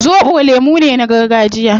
Zobo lemu ne na gargajiya